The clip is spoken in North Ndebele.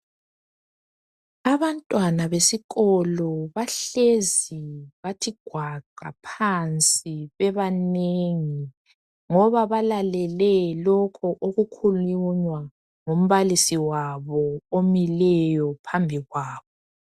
Abantwana besikolo bahlezi bathi gwaqa phansi bebanengi ngoba balalele lokhu okukhulunywa ngumbalisi wabo omileyo phambi kwabo.